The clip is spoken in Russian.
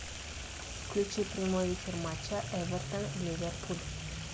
включи прямой эфир матча эвертон ливерпуль